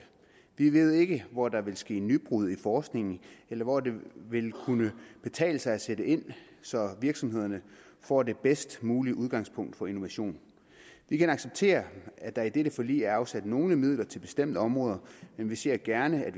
vi ved ikke hvor der vil ske nybrud i forskningen eller hvor det vil kunne betale sig at sætte ind så virksomhederne får det bedst mulige udgangspunkt for innovation vi kan acceptere at der i dette forlig er afsat nogle midler til bestemte områder men vi ser gerne at